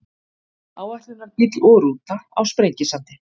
áætlunarbíll og rúta á sprengisandi